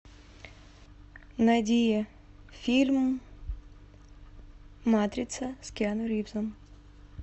найди фильм матрица с киану ривзом